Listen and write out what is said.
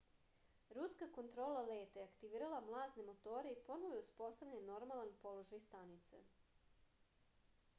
ruska kontrola leta je aktivirala mlazne motore i ponovo je uspostavljen normalan položaj stanice